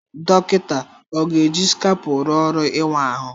Dọkịta ọ ga-eji skapụ rụọ ọrụ ịwa ahụ?